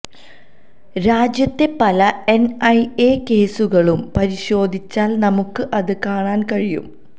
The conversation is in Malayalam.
രാജ്യത്തെ പല എൻഐഎ കേസുകളും പരിശോധിച്ചാൽ നമുക്ക് അത് കാണാൻ കഴിയും